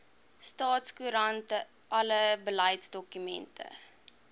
staatskoerant alle beleidsdokumente